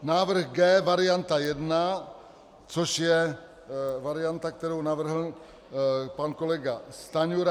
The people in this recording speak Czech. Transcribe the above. Návrh G varianta 1, což je varianta, kterou navrhl pan kolega Stanjura.